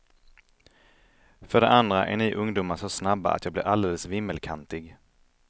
För det andra är ni ungdomar så snabba att jag blir alldeles vimmelkantig.